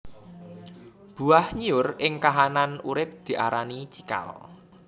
Buah nyiur ing kahanan urip diarani cikal